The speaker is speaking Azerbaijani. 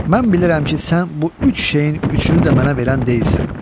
Mən bilirəm ki, sən bu üç şeyin üçünü də mənə verən deyilsən.